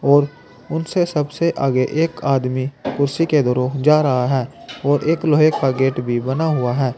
और उनसे सबसे आगे एक आदमी कुर्सी के धरो जा रहा है और एक लोहे का गेट भी बना हुआ है।